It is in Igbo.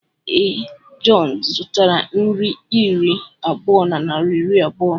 Ee, John zụtara nri iri abụọ naịra iri abụọ.